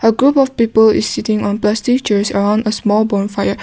a group of people is sitting on the teachers are on a small bonfire.